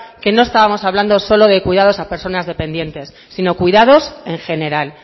que nos estábamos hablando solo de cuidados a personas dependientes sino cuidados en general